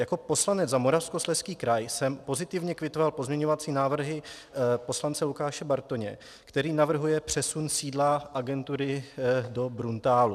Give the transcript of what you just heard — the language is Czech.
Jako poslanec za Moravskoslezský kraj jsem pozitivně kvitoval pozměňovací návrhy poslance Lukáše Bartoně, který navrhuje přesun sídla agentury do Bruntálu.